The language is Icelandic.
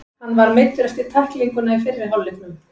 Hann var meiddur eftir tæklinguna í fyrri hálfleiknum.